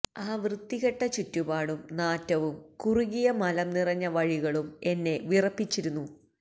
ആ വൃത്തികെട്ട ചുറ്റുപാടും നാറ്റവും കുറുകിയ മലംനിറഞ്ഞ വഴികളും എന്നെ വിറപ്പിച്ചിരുന്നു